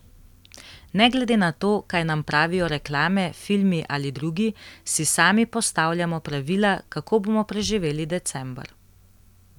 Ne glede na to, kaj nam pravijo reklame, filmi ali drugi, si sami postavljamo pravila, kako bomo preživeli december.